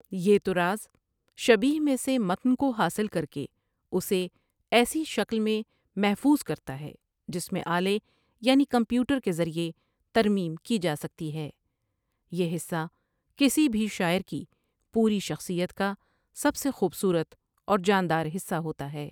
یہ طراز شیبیہہ میں سے متن کو حاصل کرکے اُسے ایسی شکل میں محفوظ کرتا ہے جس میں آلے یعنی کمپیوٹر کے ذریعے ترمیم کی جاسکتی ہے ٬٬یہ حصہ کسی بھی شاعر کی پوری شخصیت کا سب سے خوبصورت اور جاندارحصہ ہوتا ہے ۔